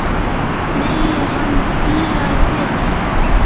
Megi hann hvíla í friði.